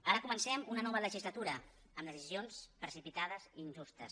ara comencem una nova legislatura amb decisions precipitades i injustes